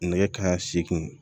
Nɛgɛ kanɲɛ seegin